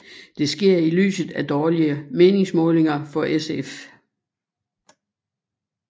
Det sker i lyset af dårlige meningsmålinger for SF